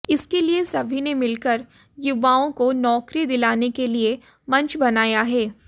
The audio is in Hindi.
इसके लिए सभी ने मिलकर युवाओं को नौकरी दिलाने के लिए मंच बनाया है